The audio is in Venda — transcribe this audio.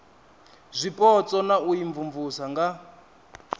zwipotso na u imvumvusa nga